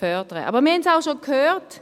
Aber wir haben es auch schon gehört: